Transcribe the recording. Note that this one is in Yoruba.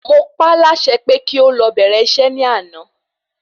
Mọ pá la ṣe pé kí o lọ bẹ̀rẹ̀ isẹ́ ni àná